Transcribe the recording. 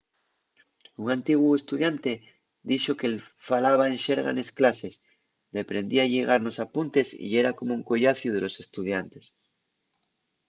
un antiguu estudiante dixo qu'él falaba en xerga nes clases deprendía a lligar nos apuntes y yera como un collaciu de los estudiantes